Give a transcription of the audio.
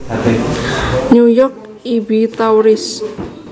New York I B Tauris